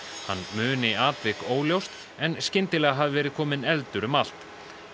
hann muni atvik óljóst en skyndilega hafi verið kominn eldur um allt